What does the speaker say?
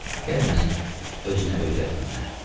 Gəl məni özünə öyrətmə məni.